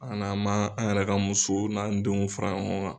An'an ma an yɛrɛ ka musow n'an denw fara ɲɔgɔn kan.